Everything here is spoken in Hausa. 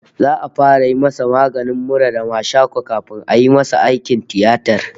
His cold and catarrh will be treated first before the surgery